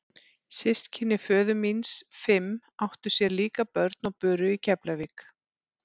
Systkini föður míns fimm áttu sér líka börn og buru í Keflavík.